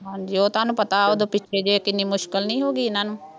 ਹਾਂਜੀ ਉਹ ਤੁਹਾਨੂੰ ਪਤਾ ਉਦੋਂ ਪਿੱਛੇ ਜਿਹੇ ਕਿੰਨੀ ਮੁਸ਼ਕਿਲ ਨਹੀਂ ਹੋ ਗਈ ਇਹਨਾ ਨੂੰ